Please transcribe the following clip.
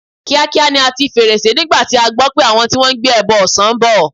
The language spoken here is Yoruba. Kíákíá ni a ti fèrèsé nígbà tí a gbọ́ pé àwọn tí wọ́n ń gbẹ́bọ ọ̀sán ń bọ̀.